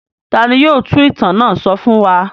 Ta ni yóò tú ìtàn náà sọ fún wa?